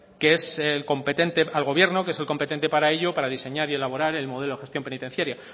al gobierno que es el competente para ello para diseñar y elaborar el modelo de gestión penitenciaria